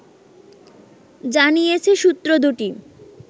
জানিয়েছে সূত্র দুটি